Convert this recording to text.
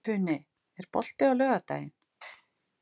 Funi, er bolti á laugardaginn?